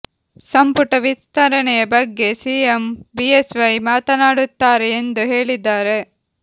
ಸಂಪುಟ ವಿಸ್ತರಣೆಯ ಬಗ್ಗೆ ಸಿಎಂ ಬಿಎಸ್ ವೈ ಮಾತನಾಡುತ್ತಾರೆ ಎಂದು ಹೇಳಿದ್ದಾರೆ